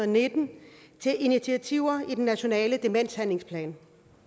nitten til initiativer i den nationale demenshandlingsplan